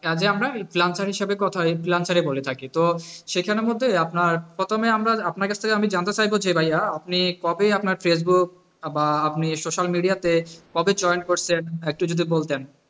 আগে আমরা freelancer হিসাবে কথা হয় freelancer হয়ে থাকে তো সেখানের মধ্যে আমরা প্রথমে আমরা আপনার কাছ থেকে জানতে চাইব যে ভাইয়া আপনি কবে আপনার ফেসবুক বা social media তে কবে join করেছেন একটু যদি বলতেন,